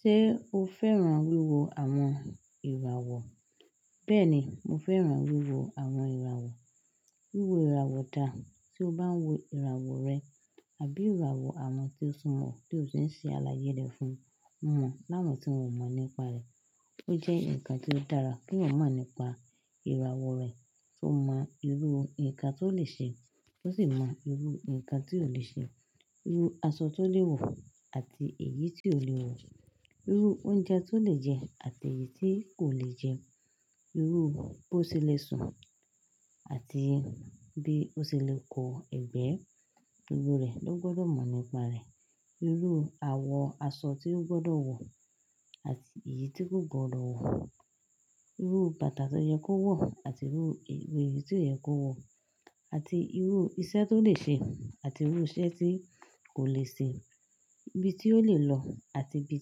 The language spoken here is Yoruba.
Ṣé o fẹ́ràn wíwo àwọn ìràwọ̀? Bẹ́ẹ̀ni, mo fẹ́ràn wíwo àwọn ìràwọ̀. Wíwo ìràwọ̀ dà Tí o bá ń wo ìràwọ̀ rẹ àbí ìràwọ̀ àwọn tí ó súnmọ́, tí o sì ń ṣe àlàyé rẹ̀ fún wọ́n láwọn tí wọn ò mọ̀ nípa rẹ̀. Ó jẹ́ nǹkan tí ó dára kí wọ́n mọ̀ nípa ìràwọ̀ rẹ̀. Kí wọ́n mọ irú nǹkan tí ó lè ṣe, wọ́n sì mọ irú nǹkan tí kò lè ṣe. Irú aṣọ tí ó lè wọ̀ àti èyí tí kò lè wọ̀. Irú oúnjẹ tí ó lè jẹ àti èyí tí kò lè jẹ. Irú bí ó ṣe lè sùn àti bí ó ṣe lè kó ẹ̀gbẹ́. Gbogbo rẹ̀ ló gbọdọ̀ mọ̀ nípa rẹ̀. Irú àwọ̀ aṣọ tí ó gbọdọ̀ wọ̀ àti èyí tí kò gbọdọ̀ wọ̀. Irú bàtà tó yẹ kó wọ̀ àti irú èyí tí kó yẹ kó wọ̀. Àti irú iṣẹ́ tó lè ṣe àti irú iṣẹ́ tí kò lè ṣe. Ibi tí ó lè lọ àti ibi